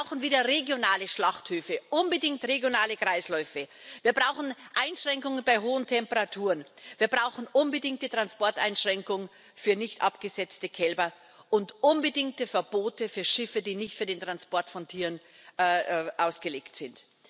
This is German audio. Wir brauchen wieder regionale Schlachthöfe, unbedingt regionale Kreisläufe, wir brauchen Einschränkungen bei hohen Temperaturen, wir brauchen unbedingt die Transporteinschränkung für nicht abgesetzte Kälber und unbedingte Verbote für Schiffe, die nicht für den Transport von Tieren ausgelegt sind.